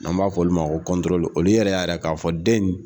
N'an b'a fɔ olu ma ko olu yɛrɛ y' a yira k'a fɔ den in